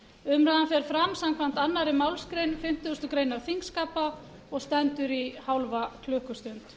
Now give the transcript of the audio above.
umræðan fer fram samkvæmt annarri málsgrein fimmtugustu grein þingskapa og stendur í hálfa klukkustund